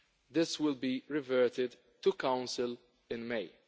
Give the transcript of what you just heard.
This will be referred back to Council in May.